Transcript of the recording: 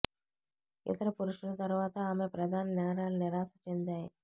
ఇతర పురుషుల తర్వాత ఆమె ప్రధాన నేరాలు నిరాశ చెందాయి